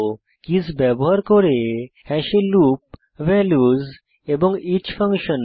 keys ব্যবহার করে হ্যাশে লুপ ভ্যালুস এবং ইচ ফাংশন